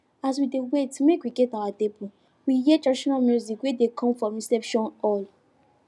as we dey wait make we get our table we hear traditional music wey dey come from di reception hall